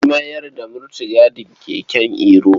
An mayar da mutigadin keken Iro.